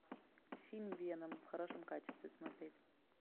фильм веном в хорошем качестве смотреть